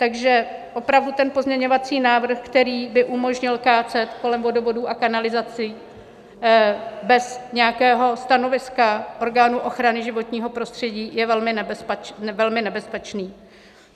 Takže opravdu ten pozměňovací návrh, který by umožnil kácet kolem vodovodů a kanalizací bez nějakého stanoviska orgánů ochrany životního prostředí je velmi nebezpečný.